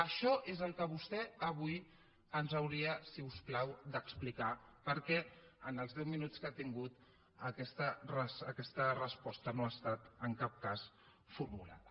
això és el que vostè avui ens hauria si us plau d’explicar perquè en els deu minuts que ha tingut aquesta resposta no ha estat en cap cas formulada